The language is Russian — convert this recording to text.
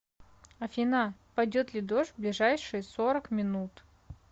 афина пойдет ли дождь в ближайшие сорок минут